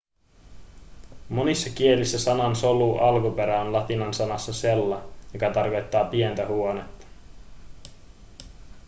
monissa kielissä sanan solu alkuperä on latinan sanassa cella joka tarkoittaa pientä huonetta